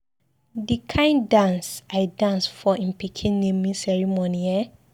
The kin dance I dance for im pikin naming ceremony eh